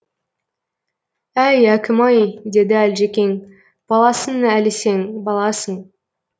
әй әкім ай деді әлжекең баласың әлі сен баласың